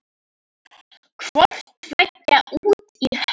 Hvort tveggja út í hött.